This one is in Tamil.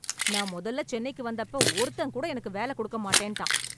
நான் மொதல்ல சென்னைக்கு வந்தப்ப ஒருத்தன் கூட எனக்கு வேல கொடுக்க மாட்டேன்டான்.